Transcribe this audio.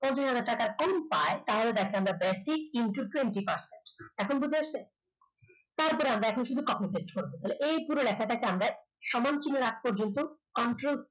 যদি টাকা কেউ পায়, তাহলে তাকে আমরা basic into twenty percent এখন বোঝা যাচ্ছে তারপরে আমরা কিন্তু এখন কিন্তু concentrate করব তাহলে এই পুরো লেখাটাকে আমরা সমান চিহ্ন আগে পর্যন্ত control